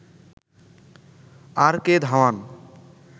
আর K Dhawan